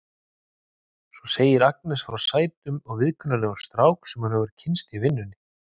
Svo segir Agnes frá sætum og viðkunnanlegum strák sem hún hefur kynnst í vinnunni.